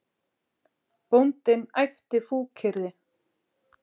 Bóndinn æpti fúkyrði.